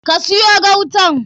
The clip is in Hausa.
Ka siyo gautan?